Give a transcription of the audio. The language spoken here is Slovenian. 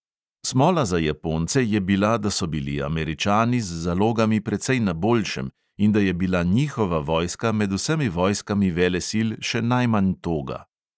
Smola za japonce je bila, da so bili američani z zalogami precej na boljšem in da je bila njihova vojska med vsemi vojskami velesil še najmanj toga.